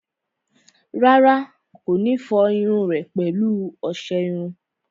Rárá, kò ní fọ irun rẹ̀ pẹ̀lú ọsẹ iru